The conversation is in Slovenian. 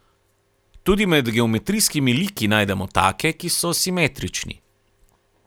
Tudi med geometrijskimi liki najdemo take, ki so simetrični.